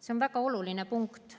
See on väga oluline punkt.